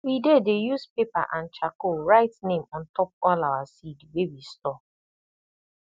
we dey dey use paper and charcoal write name on top all our seed wey we store